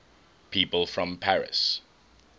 people from paris